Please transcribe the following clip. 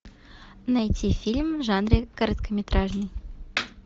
найти фильм в жанре короткометражный